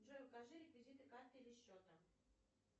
джой укажи реквизиты карты или счета